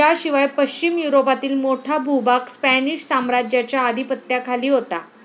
याशिवाय पश्चिम युरोपातील मोठा भूभाग स्पॅनिश साम्राज्याच्या अधिपत्याखाली होता